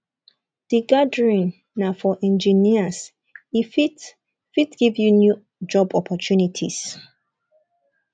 di gathering na for engineers e fit fit give you new job opportunities